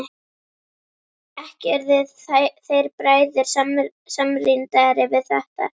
Ekki urðu þeir bræður samrýndari við þetta.